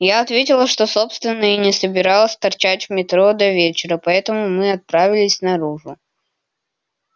я ответила что собственно и не собиралась торчать в метро до вечера поэтому мы отправились наружу